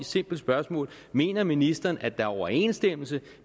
simpelt spørgsmål mener ministeren at der er overensstemmelse